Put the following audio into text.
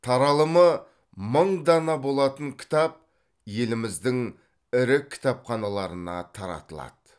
таралымы мың дана болатын кітап еліміздің ірі кітапханаларына таратылады